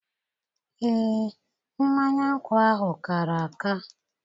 Ee, mmanya nkwụ ahụ kàrà àkà.